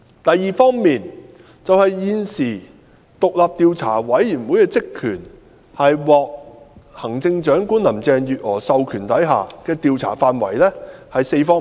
第二，現時獨立調查委員會的職權範圍，即獲行政長官林鄭月娥授權的調查範圍有4方面。